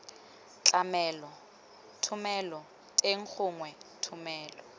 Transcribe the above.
tlamelo thomelo teng gongwe thomelo